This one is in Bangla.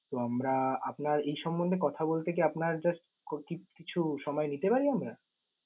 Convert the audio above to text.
তো আমরা আপনার এই সম্বন্ধে কথা বলতে কি আপনার, just কিছু সময় নিতে পারি আমরা?